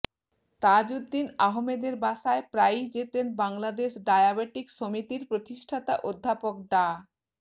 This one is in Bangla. তাজউদ্দীন আহমদের বাসায় প্রায়ই যেতেন বাংলাদেশ ডায়াবেটিক সমিতির প্রতিষ্ঠাতা অধ্যাপক ডা